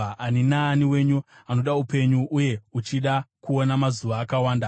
Ani naani wenyu anoda upenyu, uye uchida kuona mazuva akawanda,